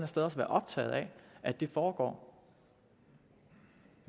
sted også være optaget af at det foregår